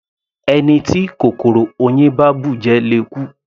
Ẹni tí kòkòrò oyin bá bùjẹ le kú.